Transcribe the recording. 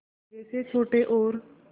जैसे छोटे और